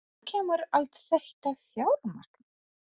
En hvaðan kemur allt þetta fjármagn?